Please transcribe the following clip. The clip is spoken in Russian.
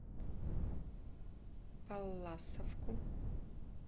палласовку